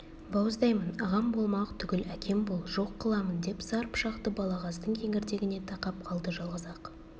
бауыздаймын ағам болмақ түгіл әкем бол жоқ қыламын деп сар пышақты балағаздың кеңірдегіне тақап қалды жалғыз-ақ